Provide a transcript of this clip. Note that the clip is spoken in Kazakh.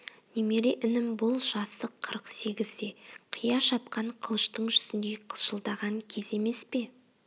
немере інім бұл жасы қырық сегізде қия шапқан қылыштың жүзіндей қылшылдаған кез емес пе